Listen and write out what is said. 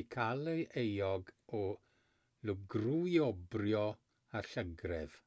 eu cael yn euog o lwgrwobrwyo a llygredd